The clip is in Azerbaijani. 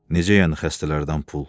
Necə yəni xəstələrdən pul?